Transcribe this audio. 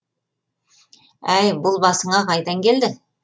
әй бұл басыңа қайдан келді